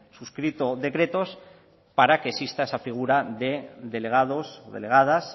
suscrito decretos para que exista esa figura de delegados o delegadas